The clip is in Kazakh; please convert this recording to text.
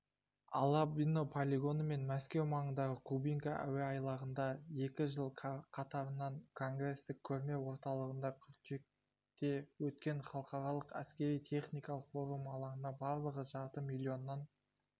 алабино полигоны мен мәскеу маңындағы кубинка әуеайлағында екі жыл қатарынан конгресстік-көрме орталығында қыркүйекте өткен халықаралық әскери-техникалық форум алаңына барлығы жарты миллионнан